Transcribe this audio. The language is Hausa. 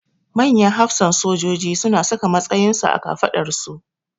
Manyan hafsan sojoji su na saka matsayin su a kafaɗarsu